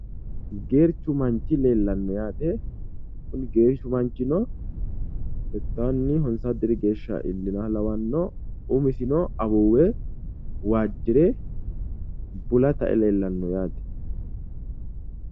Geerchu manchi leellanno yaate, kuni geerchu manchino settawunni honsowo diri geeshsha iillinoha lawanno, umisino awaawu waajjire bula tae leelanno .